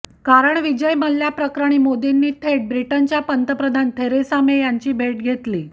कारण विजय मल्ल्याप्रकरणी मोदींनी थेट ब्रिटनच्या पंतप्रधान थेरेसा मे यांची भेट घेतली